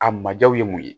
A ma jaw ye mun ye